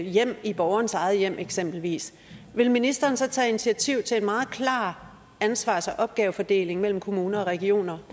hjem i borgerens eget hjem eksempelvis vil ministeren så tage initiativ til en meget klar ansvars og opgavefordeling mellem kommuner og regioner